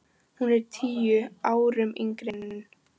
Hún er tíu árum yngri en